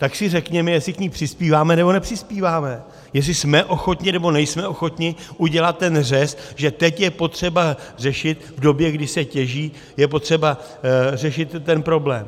Tak si řekněme, jestli k ní přispíváme, nebo nepřispíváme, jestli jsme ochotni, nebo nejsme ochotni udělat ten řez, že teď je potřeba řešit, v době, kdy se těží, je potřeba řešit ten problém.